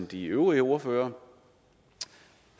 de øvrige ordførere